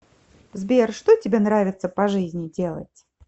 сбер что тебе нравится по жизни делать